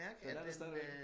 Den er der stadigvæk